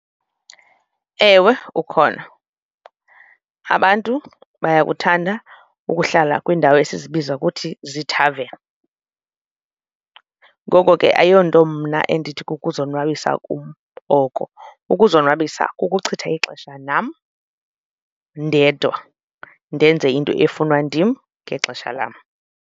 Ewe, ukhona. Abantu bayakuthanda ukuhlala kwiindawo esizibiza kuthi ziithaveni, ngoko ke ayona nto mna endithi kukuzonwabisa kum oko. Ukuzonwabisa kukuchitha ixesha nam ndedwa ndenze into efunwa ndim ngexesha lam.